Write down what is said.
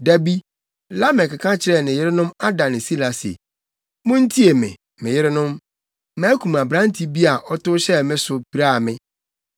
Da bi, Lamek ka kyerɛɛ ne yerenom Ada ne Sila se, “Muntie me, me yerenom makum aberante bi a, ɔtow hyɛɛ me so, piraa me.